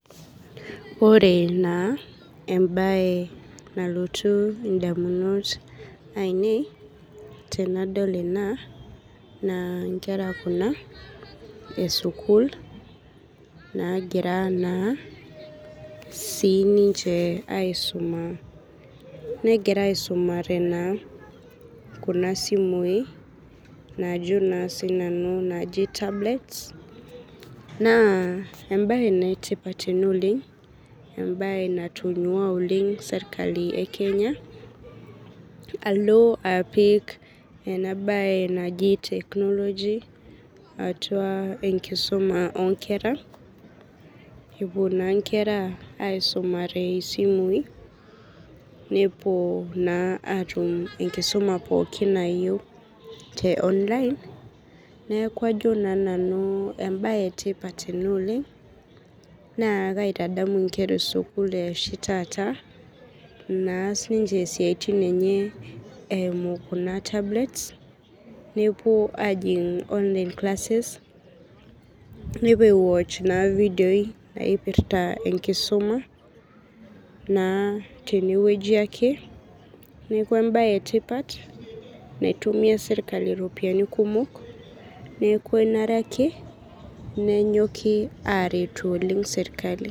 Ore naa embaye nalotu indamunot ainei tenadol ena naa nkera kuna esukul nagira naa siininche aisuma negira aisumare naa kuna simui naajo naa sinanu naaji tablets. Naa embaye naaetipat ena oleng', embaye natonyua oleng' serkali e Kenya alo apik enabaye naji teknoloji atua enkisuma oonkera epuo naa nkera aisumare isimui nepuo naa atum enkisoma pookin nayiou te online. Neaku ajo naa nanu embaye etipat ena oleng' naa kaitadamu inkera esukul eoshi taata naas ninche isiaitin enye eimu kuna tablets nepuo ajing online classes, nepuo aiwoch naa ifidioi naipirta enkisuma naa tenewueji ake, neaku embaye etipat naitumia  serkali iropiani kumok neaku enare ake nenyoki aaretu oleng' serkali.